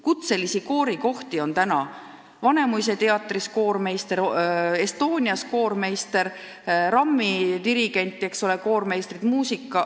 " Kutselise koorijuhi kohti on väga vähe: Vanemuise teatris koormeister, Estonias koormeister, RAM-i dirigent, koormeistrid.